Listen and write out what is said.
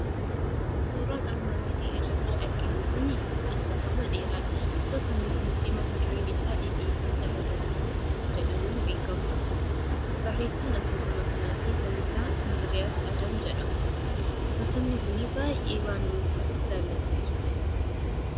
Suuraan armaan gadii irratti arginu kunii asoosama dheeraadha. Asoosamni kunisi matadureen isaa "Dhidhiibbaa Caba Dabale" jedhamuun beekama. Barreessaan asoosama kanaasi Lalisaa Indiriis Adam jedhama. Asoosamni kunii baay'ee waan namatti toluuf jaalladheera.